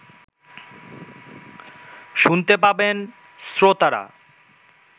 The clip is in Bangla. শুনতে পাবেন শ্রোতারা